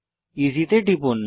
EC তে টিপুন